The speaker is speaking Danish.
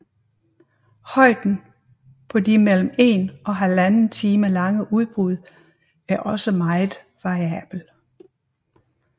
Højden på de mellem en og halvanden time lange udbrud er også meget variabel